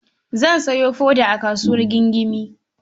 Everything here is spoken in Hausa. Zan sayo foda a kasuwar Gingime.